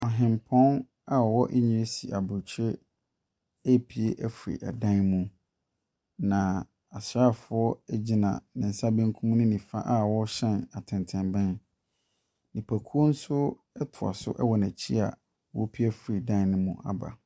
Ɔhempɔn a ɔwɔ Ngresi Abrokyire repue afi dan mu. Na asrafoɔ gyina ne nsa benkum ne nifa a wɔrehyɛ atɛntɛnbɛn. Nnipakuo nso ɛtoa so wɔ n'akyi a wɔrepue afiri dan no mu aba.